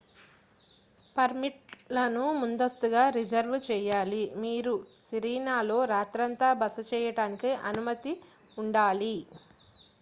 permit లను ముందస్తుగా reserve చేయాలి మీరు సిరీనాలో రాత్రంతా బస చేయడానికి అనుమతి ఉండాలి